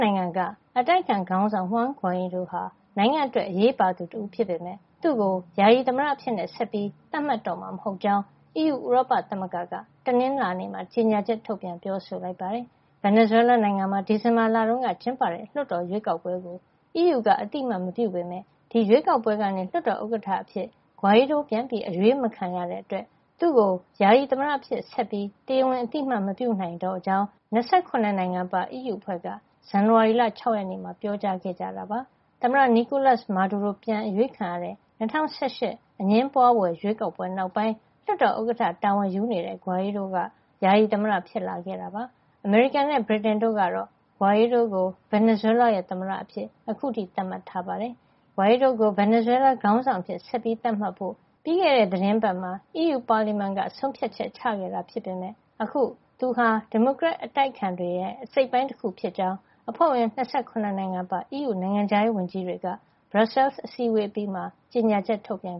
နိုင်ငံက အတိုက်အခံခေါင်းဆောင် Juan Guaido ဟာ နိုင်ငံ့အတွက် အရေးပါသူတဦးဖြစ်ပေမယ့် သူ့ကို ယာယီသမ္မတအဖြစ် ဆက်ပြီးသတ်မှတ်တော့မှာ မဟုတ်ကြောင်း အီးယူဥရောပသမဂ္ဂက တနင်္လာနေ့မှာ ကြေညာချက် ထုတ်ပြန်ပြောဆိုပါတယ်။ Venezuela နိုင်ငံမှာ ဒီဇင်ဘာလတုန်းကကျင်းပတဲ့ လွှတ်တော်ရွေးကောက်ပွဲကို အီးယူက အသိအမှတ်မပြုပေမယ့် ဒီရွေးကောက်ပွဲကနေ လွှတ်တော်ဥက္ကဌအဖြစ် Guaido ပြန်အရွေးမခံရတဲ့ အတွက် သူ့ကို ယာယီသမ္မတအဖြစ် ဆက်ပြီး တရားဝင်အသိမှတ် မပြုနိုင်တော့ကြောင်း ၂၇ နိုင်ငံပါ အီးယူ အဖွဲ့က ဇန်နဝါရီလ ၆ ရက်နေ့မှာ ပြောကြားခဲ့တာပါ။ သမ္မတ Nicolas Maduro ပြန်အရွေးခံရတဲ့ ၂၀၁၈ အငြင်းပွါးဖွယ် ရွေးကောက်ပွဲနောက်ပိုင်း လွှတ်တော်ဥက္ကဌ တာဝန်ယူနေတဲ့ Guaido က ယာယီသမ္မတ ဖြစ်လာခဲ့ပါတယ်။ အမေရိကန်နဲ့ ဗြိတိန် တို့ကတော့ Guaido ကို Venezuela ရဲ့ သမ္မတအဖြစ် အခုထိ သတ်မှတ်ထားတာပါ။ Guaido ကို Venezuela ခေါင်းဆောင် အဖြစ် ဆက်ပြီးသတ်မှတ်ဖို့ ပြီးခဲ့တဲ့ သီတင်းပတ်မှာ အီးယူပါလီမန်က ဆုံးဖြတ်ချက်ချခဲ့တာ ဖြစ်ပေမယ့် အခုသူဟာ ဒီမိုကရက်အတိုက်အခံ တွေရဲ့ အစိတ်အပိုင်း တခုဖြစ်ကြောင်း အဖွဲ့ဝင် ၂၇ နိုင်ငံပါတဲ့ အီးယူ နိုင်ငံခြားရေးဝန်ကြီးတွေက Brussels အစည်းအဝေး အပြီးမှာ ကြေညာချက် ထုတ်ပြန်